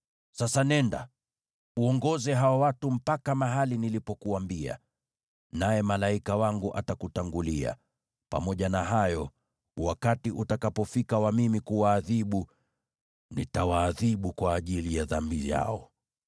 Sasa nenda, uongoze hao watu mpaka mahali nilipokuambia, naye malaika wangu atakutangulia. Pamoja na hayo, wakati utakapofika wa mimi kuwaadhibu, nitawaadhibu kwa ajili ya dhambi yao.”